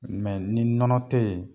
ni nɔnɔ tɛ ye